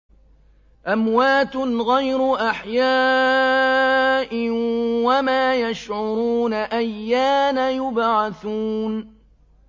أَمْوَاتٌ غَيْرُ أَحْيَاءٍ ۖ وَمَا يَشْعُرُونَ أَيَّانَ يُبْعَثُونَ